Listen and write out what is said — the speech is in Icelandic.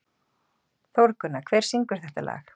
Þórgunna, hver syngur þetta lag?